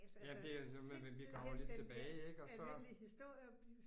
Jamen det er jo noget med vi kommer lidt tilbage ik og så